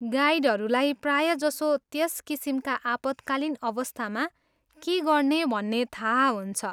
गाइडहरूलाई प्रायजसो त्यस किसिमका आपतकालिन् अवस्थामा के गर्ने भन्ने थाहा हुन्छ।